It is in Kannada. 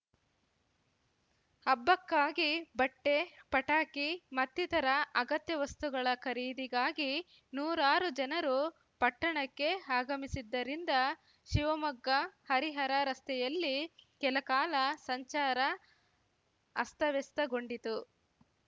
ಹಬ್ಬಕ್ಕಾಗಿ ಬಟ್ಟೆ ಪಟಾಕಿ ಮತ್ತಿತರ ಅಗತ್ಯ ವಸ್ತಗಳ ಖರೀದಿಗಾಗಿ ನೂರಾರು ಜನರು ಪಟ್ಟಣಕ್ಕೆ ಆಗಮಿಸಿದ್ದರಿಂದ ಶಿವಮೊಗ್ಗಹರಿಹರ ರಸ್ತೆಯಲ್ಲಿ ಕೆಲಕಾಲ ಸಂಚಾರ ಅಸ್ತವ್ಯಸ್ತಗೊಂಡಿತ್ತು